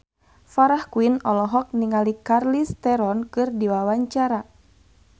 Farah Quinn olohok ningali Charlize Theron keur diwawancara